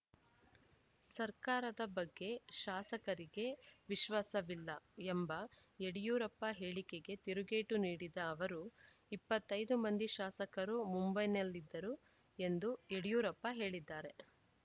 ಸರ್ಕಾರದ ಬಗ್ಗೆ ಶಾಸಕರಿಗೆ ವಿಶ್ವಾಸವಿಲ್ಲ ಎಂಬ ಯಡಿಯೂರಪ್ಪ ಹೇಳಿಕೆಗೆ ತಿರುಗೇಟು ನೀಡಿದ ಅವರು ಇಪ್ಪತ್ತ್ ಐದು ಮಂದಿ ಶಾಸಕರು ಮುಂಬೈನಲ್ಲಿದ್ದರು ಎಂದು ಯಡಿಯೂರಪ್ಪ ಹೇಳಿದ್ದಾರೆ